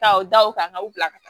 Taa u da u kan ka u bila ka taa